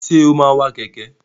Ṣé o máa wa kẹ̀kẹ́?